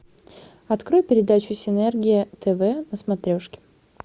открой передачу синергия тв на смотрешке